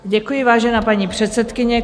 Děkuji, vážená paní předsedkyně.